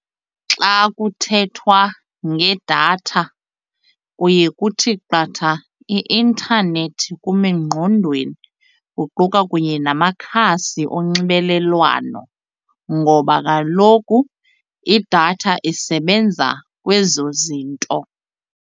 Xa kuthethwa ngedatha kuye kuthi qatha i-intanethi kum engqondweni kuquka kunye namakhasi onxibelelwano ngoba kaloku idatha isebenza kwezo zinto.